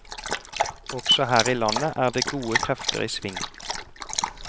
Også her i landet er det gode krefter i sving.